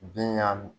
Bin ɲa